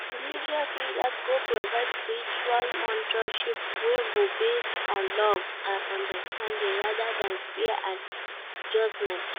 Religious leaders go provide spiritual mentorship wey go base on love and understanding rather than fear and judgment.